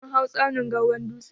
Mun hau tsaunin gwawron dutse.